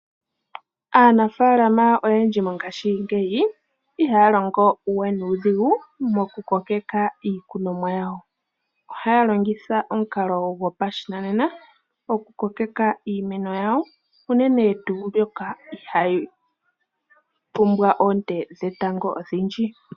Aanafaalama oyendji mongaashingeyi, ihaya longo we nuudhigu moku kokeka iikunomwa yawo. Ohaya longitha omukalo gopashinanena, oku kokeka iimeno yawo unene tuu mbyoka ihayi pumbwa oonte dhetango odhindji.